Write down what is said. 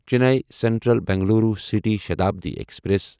Chennai central Bengaluru city Shatabdi express